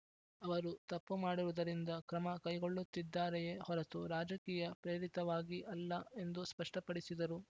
ಅವರು ತಪ್ಪು ಮಾಡಿರುವುದರಿಂದ ಕ್ರಮ ಕೈಗೊಳ್ಳುತ್ತಿದ್ದಾರೆಯೇ ಹೊರತು ರಾಜಕೀಯ ಪ್ರೇರಿತವಾಗಿ ಅಲ್ಲ ಎಂದು ಸ್ಪಷ್ಟಪಡಿಸಿದರು